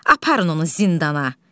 Aparın onu zindana.